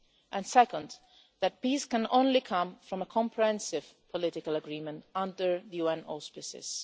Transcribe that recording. and second, that peace can only come from a comprehensive political agreement under UN auspices.